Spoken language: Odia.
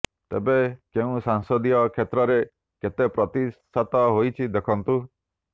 ତେବେ କେଉଁ ସଂସଦୀୟ କ୍ଷେତ୍ରରେ କେତେ ପ୍ରତିଶତ ହୋଇଛି ଦେଖନ୍ତୁ